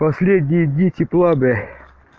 последние дни тепла бля